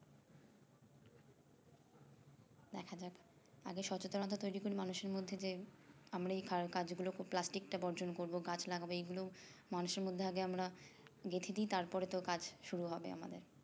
দেখা যাক আগে সচেতনতা তৈরী করি মানুষের মধ্যে যে আমরা এই কারকাজগুলো plastic টা বর্জন করবো গাছ লাগাবো এইগুলো মানুষের মধ্যে আগে আমরা গেথেদি তারপরে তো কাজ শুরু হবে আমাদের